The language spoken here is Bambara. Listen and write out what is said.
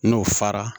N'o fara